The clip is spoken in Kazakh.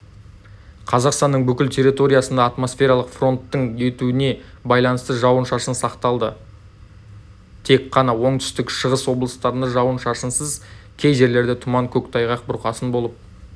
қазақстанның бүкіл территориясында атмосфералық фронттың өтуіне байланысты жауын-шашын сақталады тек қана оңтүстік-шығыс облыстарында жауын-шашынсыз кей жерлерде тұман көктайғақ бұрқасын болып